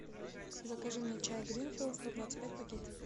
закажи мне чай гринфилд сто двадцать пять пакетиков